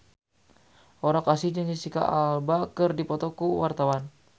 Aura Kasih jeung Jesicca Alba keur dipoto ku wartawan